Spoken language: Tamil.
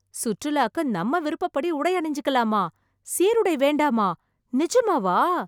சுற்றுலாக்கு நம்ம விருப்பப்படி உடை அணிஞ்சுக்கலாமா? சீருடை வேண்டாமா? நிஜமாவா?